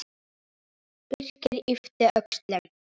Birkir yppti öxlum.